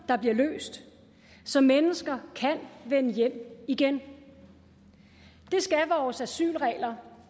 bliver løst så mennesker kan vende hjem igen det skal vores asylregler